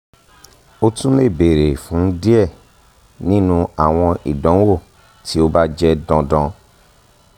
o tun le beere fun diẹ ninu awọn idanwo ti o ba jẹ dandan